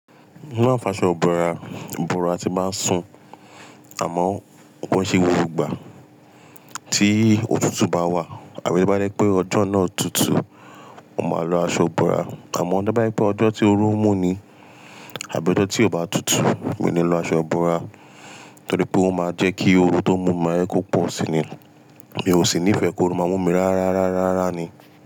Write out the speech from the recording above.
Mo máa ń fa aṣọ bora fíbora tí n bá ń sùn, àmọ́ kò ún ṣe gbogbo ìgbà. Tí òtútù bá wà àbí tó bá jẹ́ pé ọjọ́ náà tutù, mo máa lo aṣọ ìbora. Àmọ́ bá dé pé ọjọ́ tí oru ń mú ni àbí ọjọ́ tí ò bá tutù, mi ò ní lo aṣọ ìbora torí pé ó máa jẹ́ kí oru tó mú mi máa jẹ́ kó pọ̀ síi ni. Mi ò sì nífẹ̀ẹ́ kí oru máa mú mi rárá, rárá, rárá ni.